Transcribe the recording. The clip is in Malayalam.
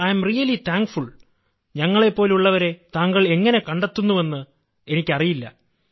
അതിനാൽ ഞാൻ ശരിക്കും നന്ദിയുള്ളവനാണ് ഞങ്ങളെപ്പോലുള്ളവരെ താങ്കൾ എങ്ങനെ കണ്ടെത്തുന്നുവെന്ന് എനിക്കറിയില്ല